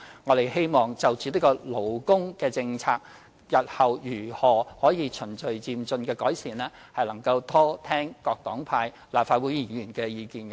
在勞工政策方面，我們希望就日後如何循序漸進地改善，多聽各黨派立法會議員的意見。